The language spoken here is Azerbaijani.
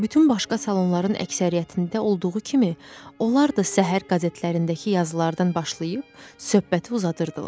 Bütün başqa salonların əksəriyyətində olduğu kimi, onlar da səhər qəzetlərindəki yazılardan başlayıb söhbəti uzadırdılar.